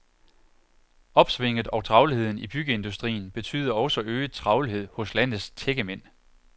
Opsvinget og travlheden i byggeindustrien betyder også øget travlhed hos landets tækkemænd.